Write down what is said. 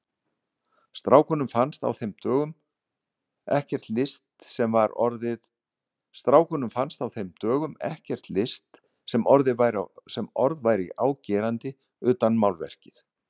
Strákunum fannst á þeim dögum ekkert list sem orð væri á gerandi utan málverkið.